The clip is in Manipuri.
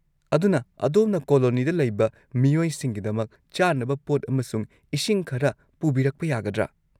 ꯑꯗꯨꯅ, ꯑꯗꯣꯝꯅ ꯀꯣꯂꯣꯅꯤꯗ ꯂꯩꯕ ꯃꯤꯑꯣꯏꯁꯤꯡꯒꯤꯗꯃꯛ ꯆꯥꯅꯕ ꯄꯣꯠ ꯑꯃꯁꯨꯡ ꯏꯁꯤꯡ ꯈꯔ ꯄꯨꯕꯤꯔꯛꯄ ꯌꯥꯒꯗ꯭ꯔꯥ?